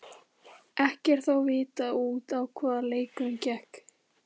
Ekki er þó vitað út á hvað leikurinn gekk.